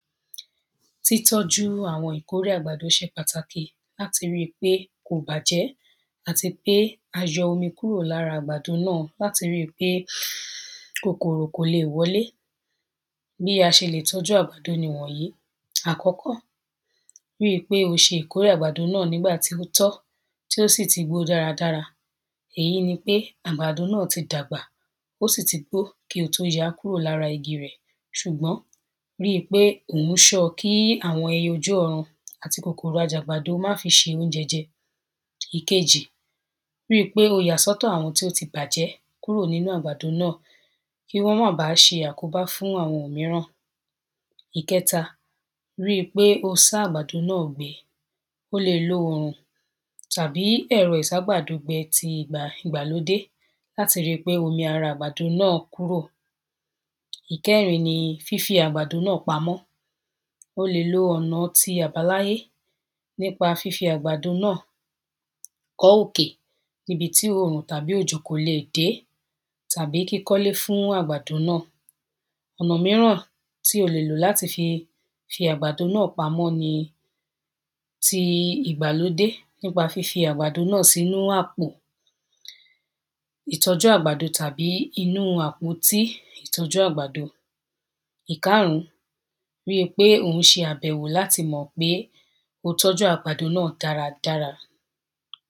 títọ́ju àwọn ìkórè àgbàdo se pàtàkì láti ríi pé kò bàjẹ́, àti pé a yọ omi kúrò lára àgbàdo náà, láti ri pé kòkòrò kò le wọlé, bí a se lè tọ́jú àgbàdo ni wọ̀nyí, àkọ́kọ́, ri pé o se ìkórè àgbàdo náà nígbàtí ó tọ́, tí ó sì ti gbó dáradára, èyí ni pé àgbàdo náà ti dàgbà, ó sì ti gbò kí o tó yaá kúrò lára igi rẹ̀, sùgbọ́n ri pé ò ń ṣo, kí àwọn ẹyẹ ojú ọ̀run àti kòkòrò ajẹgbádo má fi se oúnjẹ jẹ, ìkejì, ríi pé o yà sọ́tọ̀ àwọn tí ó ti gbàjẹ́ kúrò nínu àgbàdo náà, kí wọ́n ma bàá se àkóbá fún àwọn míràn, ìkẹta, ri pé o sá àgbàdo náà gbẹ, o lè lo òrùn tàbí ẹ́rọ ìságbàdogbẹ ti ìgbà, ìgbàlódé, láti ri pé omi ara àgbàdo náà kúrò, ìkẹrin ni, fí fi àgbàdo náà pamọ́, o lè lo ọ̀na ti ìgbà láyé nípa fífi àgbàdo náà kọ́ òkè, níbi tí òrùn tàbí òjò kò lè dé, tàbí kíkọ́lé fún àgbàdo náà, ọ̀nà míràn tí o le lò láti fi àgbàdo náà pamọ́ ni ti ìgbàlódé, ní pa fí fi àgbàdo náà sínú àpò, ìtọ́jú àgbàdo tàbí inú àpótí ìtọ́jú àgbàdo, ìkaàrún, ríi pé ò ń se àbẹ̀wò láti mọ̀ pé o tọ́jú àgbàdo náà dáradára.